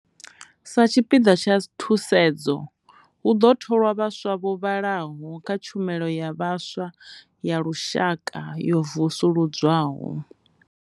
Sa tshipiḓa tsha thusedzo, hu ḓo tholwa vhaswa vho vhalaho kha tshumelo ya vhaswa ya lushaka yo vusuludzwaho.